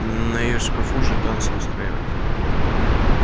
не её шкафу же танцы устраивать